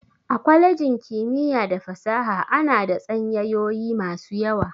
A kwalejin kimiyya da fasaha ana da tsanyayoyi masu yawa.